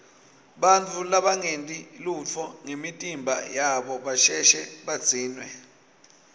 bantfu labangenti lutfo ngemitimba yabo basheshe badzinwe